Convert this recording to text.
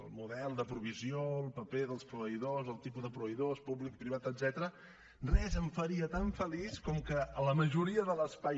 el model de provisió el paper dels proveïdors el tipus de proveïdors públic privat etcètera res em faria tan feliç com que la majoria de l’espai